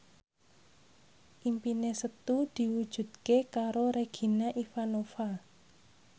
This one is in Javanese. impine Setu diwujudke karo Regina Ivanova